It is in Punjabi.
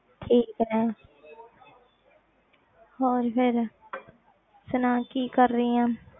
ਠੀਕ ਹੈ ਹੋਰ ਫਿਰ ਸੁਣਾ ਕੀ ਕਰ ਰਹੀ ਆਂ